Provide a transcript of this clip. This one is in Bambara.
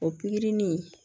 O pikiri nin